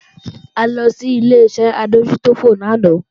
A lọ sí Ileṣẹ́ adójútòfò lánàá